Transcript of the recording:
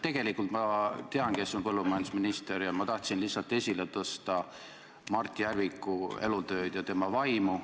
Tegelikult ma tean, kes on põllumajandusminister, ma tahtsin lihtsalt esile tõsta Mart Järviku elutööd ja tema vaimu.